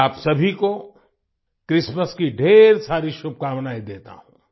मैं आप सभी को क्रिस्टमास की ढ़ेर सारी शुभकामनाएं देता हूँ